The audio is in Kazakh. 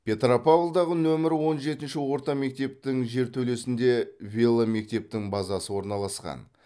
петропавлдағы нөмірі он жетінші орта мектептің жертөлесінде веломектептің базасы орналасқан